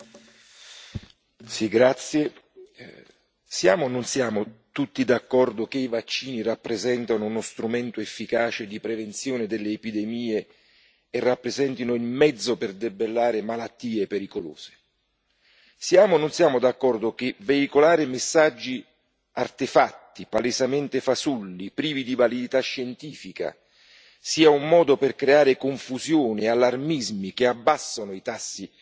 Signora Presidente, onorevoli colleghi, siamo o non siamo tutti d'accordo che i vaccini rappresentano uno strumento efficace di prevenzione delle epidemie e rappresentano il mezzo per debellare malattie pericolose? Siamo o non siamo d'accordo che veicolare messaggi artefatti, palesemente fasulli e privi di validità scientifica sia un modo per creare confusione e allarmismi che abbassano i tassi